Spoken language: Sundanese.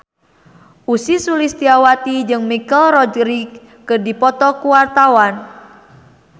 Ussy Sulistyawati jeung Michelle Rodriguez keur dipoto ku wartawan